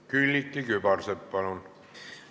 Külliki Kübarsepp, palun!